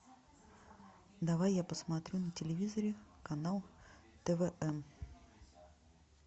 давай я посмотрю на телевизоре канал твм